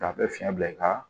K'a bɛ fiɲɛ bila i ka